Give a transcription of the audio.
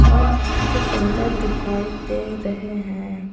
और बहुत ही सुंदर दिखाई दे रहे हैं।